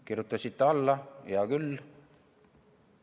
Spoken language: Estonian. Kirjutasite alla, hea küll.